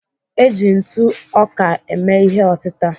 Eji ntụ ọka eme ihe otịta.